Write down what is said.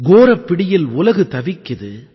கோரப் பிடியில் உலகு தவிக்குது